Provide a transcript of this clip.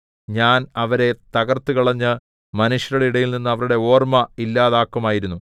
ഞാൻ അവരെ തകർത്തുകളഞ്ഞ് മനുഷ്യരുടെ ഇടയിൽനിന്ന് അവരുടെ ഓർമ്മ ഇല്ലാതാക്കുമായിരുന്നു